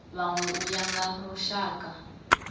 vhanwe u ya nga lushaka